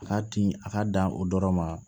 A ka timi a ka dan o dɔrɔn ma